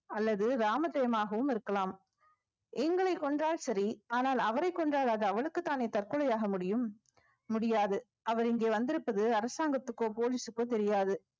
அல்லது ராமஜெயமாகவும் இருக்கலாம் எங்களைக் கொன்றால் சரி ஆனால் அவரைக் கொன்றால் அது அவனுக்குத்தானே தற்கொலை ஆக முடியும் முடியாது அவர் இங்கே வந்திருப்பது அரசாங்கத்துக்கோ police க்கோ தெரியாது